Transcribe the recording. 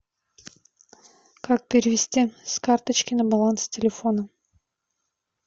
как перевести с карточки на баланс телефона